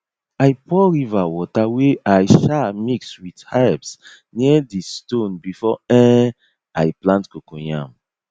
i pour river water wey i um mix with herbs near di stone before um i plant coco yam